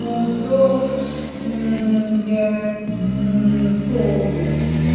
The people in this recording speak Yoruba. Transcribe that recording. ohun tó um yẹ um kó o mò